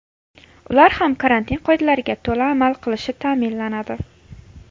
Ular ham karantin qoidalariga to‘la amal qilishi ta’minlanadi.